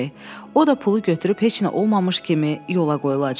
O da pulu götürüb heç nə olmamış kimi yola qoyulacaq.